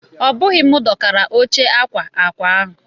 Obughi m dokara óche akwa akwa ahụ.